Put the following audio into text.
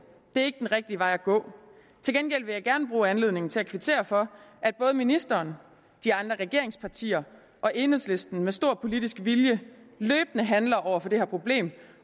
det rigtige vej at gå til gengæld vil jeg gerne bruge anledningen til at kvittere for at både ministeren de andre regeringspartier og enhedslisten med stor politisk vilje løbende handler over for det her problem